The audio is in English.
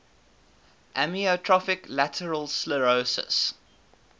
amyotrophic lateral sclerosis